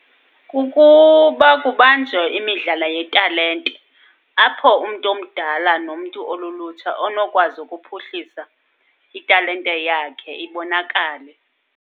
Kukuba kubanjwe imidlalo yetalente. Apho umntu omdala nomntu olulutsha onokwazi ukuphuhlisa italente yakhe ibonakale.